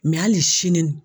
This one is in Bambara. Mɛ hali sini